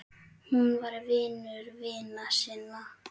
Hún var vinur vina sinna.